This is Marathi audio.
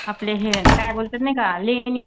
आपले हे काय बोलतात नाही का लेणी